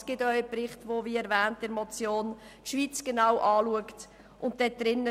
Es gibt auch – wie in der Motion erwähnt – einen Bericht, in dem die Schweiz genau betrachtet wird.